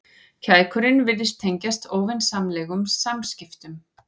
Kækurinn virtist tengjast óvinsamlegum samskiptum.